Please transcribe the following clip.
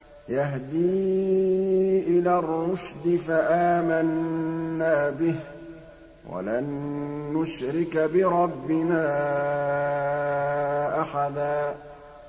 يَهْدِي إِلَى الرُّشْدِ فَآمَنَّا بِهِ ۖ وَلَن نُّشْرِكَ بِرَبِّنَا أَحَدًا